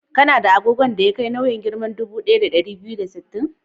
Kana da agogon da ya kai nauyin giram dubu ɗaya da ɗari biyu da sittin?